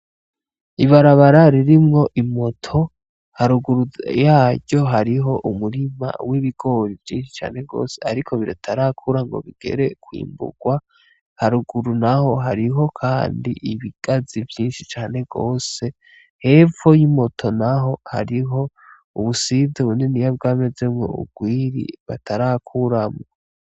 Ibarabara ririmwo imoto, haruguru yaryo hariho umurima w'ibigori vyinshi cane gose, ariko bitarakura ngo bigere kwimbugwa haruguru naho hariho kandi ibigazi vyinshi cane gose hepfo y'imoto naho hariho ubusize buniniya bwamezemwo ugwiri batarakuramwo.